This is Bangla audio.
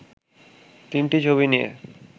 তিনটি ছবি নিয়ে